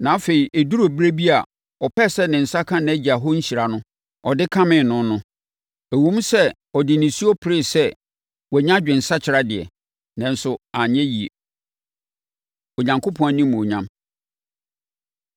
Na afei ɛduruu ɛberɛ bi a ɔpɛɛ sɛ ne nsa ka nʼagya hɔ nhyira no, ɔde kamee no no. Ɛwom sɛ ɔde nisuo peree sɛ wanya adwensakyera deɛ, nanso anyɛ yie. Onyankopɔn Animuonyam